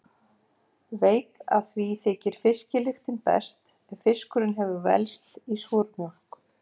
Veit að því þykir fiskilyktin best ef fiskurinn hefur velst í súrmjólk.